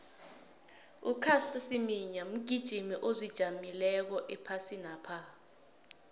ucaster semenya mgijimi ozijameleko ephasinapha